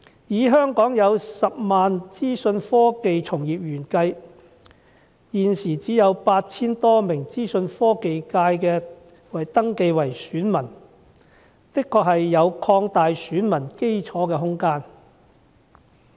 在香港10萬名資訊科技從業員中，現時只有 8,000 多名人士登記成為選民，因此的確有擴大選民基礎的空間。